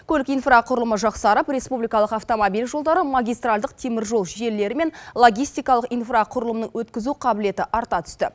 көлік инфрақұрылымы жақсарып республикалық автомобиль жолдары магистральдық теміржол желілері мен логистикалық инфрақұрылымның өткізу қабілеті арта түсті